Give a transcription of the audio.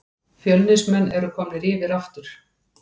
Fjölnismenn eru komnir yfir aftur